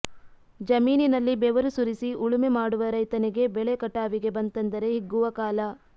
ಜಮೀನಲ್ಲಿ ಬೆವರು ಸುರಿಸಿ ಉಳುಮೆ ಮಾಡುವ ರೈತನಿಗೆ ಬೆಳೆ ಕಟಾವಿಗೆ ಬಂತೆಂದರೆ ಹಿಗ್ಗುವ ಕಾಲ